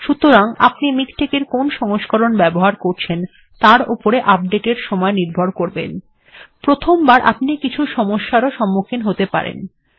সুতরাং আপনি প্রথমে মিকটেক্ এর কোন সংস্করণ ব্যবহার করছেন তার উপর আপডেট্ এর সময় নির্ভর করবে প্রথমবার আপনি কিছু সমস্যারও সন্মুখীন হতে পারেন